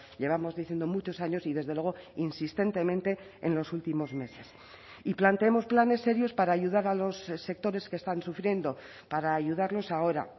llevamos diciendo muchos años y desde luego insistentemente en los últimos meses y planteemos planes serios para ayudar a los sectores que están sufriendo para ayudarlos ahora